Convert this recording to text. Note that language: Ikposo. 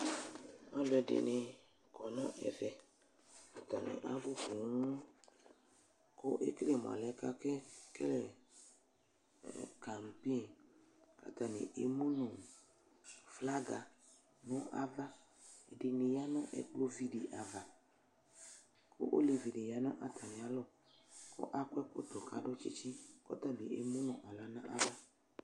Aaluɛɖini, kɔnʋ ɛvɛatani abʋpooo kʋ ekele mʋ alɛnɛ akele karibin k'atani emunʋ flaga nʋ avaƐɖini ya nʋ ɛkplɔviɖi avaoleviɖi ya nʋ atamialɔ kʋ akɔ ɛkɔtɔ kʋ aɖʋ tsitsi kʋ atabi emunʋ aɣla n'ava